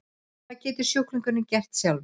Hvað getur sjúklingurinn gert sjálfur?